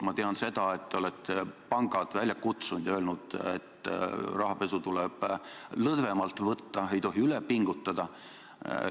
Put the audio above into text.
Ma tean seda, et te olete pangad välja kutsunud ja öelnud, et rahapesu tuleb lõdvemalt võtta, ei tohi üle pingutada.